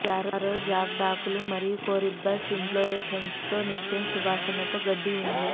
arrow jagged ఆకులు మరియు corymbose ఇంఫ్లోరేస్సెన్సేస్తో నిత్యం సువాసనతో గడ్డి ఉంది